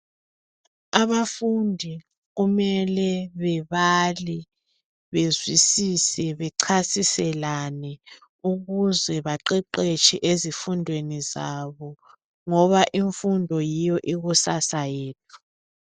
Abafundi kumele bebale bezwisise bechasiselane ukuze baqeqetshe ezifundweni zabo ngoba imfundo yiyo ikusasa yethu.